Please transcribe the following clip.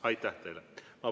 Aitäh teile!